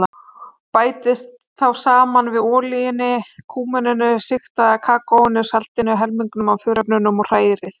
Bætið þá saman við olíunni, kúmeninu, sigtaða kakóinu, saltinu og helmingnum af þurrefnunum og hrærið.